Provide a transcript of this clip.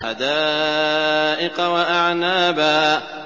حَدَائِقَ وَأَعْنَابًا